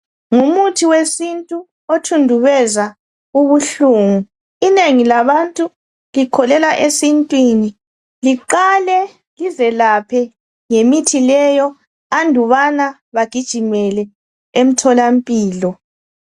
Ngumuthi wesintu othudubeza ubuhlungu inengi labantu likholelwa esintwini liqala lizelaphe lingakayi emtholampilo.